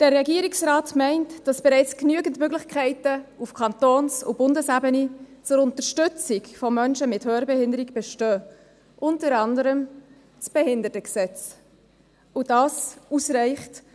Der Regierungsrat meint, dass bereits genügend Möglichkeiten auf Kantons- und Bundesebene zur Unterstützung von Menschen mit Hörbehinderung bestehen, unter anderem das Bundesgesetz über die Beseitigung von Benachteiligungen von Menschen mit Behinderungen (Behindertengleichstellungsgesetz, BehiG);